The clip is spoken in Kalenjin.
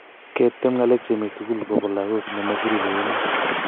Ketem ng�alek chemi mi sugul kobo lagok nemo kiribe komoi.